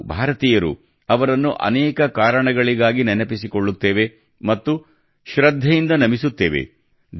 ನಾವು ಭಾರತೀಯರು ಅವರನ್ನು ಅನೇಕ ಕಾರಣಗಳಿಗಾಗಿ ನೆನಪಿಸಿಕೊಳ್ಳುತ್ತೇವೆ ಮತ್ತು ಶೃದ್ಧೆಯಿಂದ ನಮಿಸುತ್ತೇವೆ